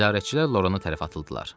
Nəzarətçilər Loranı tərəf atıldılar.